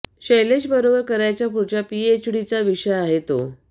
शैलेश बरोबर करायच्या पुढच्या पि एच डीचा विषय आहे तो